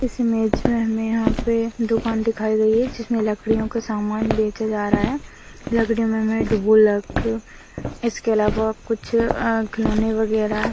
इस इमेज मे हमे यहा पे दुकान दिखाई दे रही है जिसमे लकड़ीयों के समान बेचे जा रहा है लकड़ीयों मे ढोलक इसके अलावा कुछ खिलौने वगैरा --